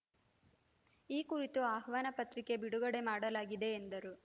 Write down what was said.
ಈ ಕುರಿತು ಆಹ್ವಾನ ಪತ್ರಿಕೆ ಬಿಡುಗಡೆ ಮಾಡಲಾಗಿದೆ ಎಂದರು